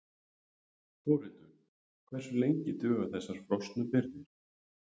Þórhildur: Hversu lengi duga þessar frosnu birgðir?